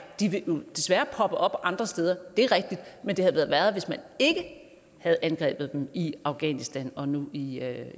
de vil desværre poppe op andre steder det er rigtigt men det havde været værre hvis man ikke havde angrebet dem i afghanistan og nu i